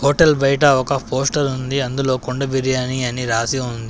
Hotel బయట ఒక poster ఉంది అందులో కుండ బిర్యానీ అని రాసి ఉంది.